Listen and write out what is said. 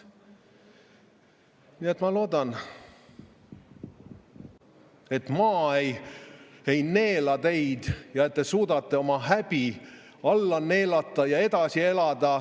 Ma loodan, et maa ei neela teid ja te suudate oma häbi alla neelata ja edasi elada.